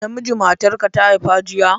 Namiji matarka ta haifa jiya?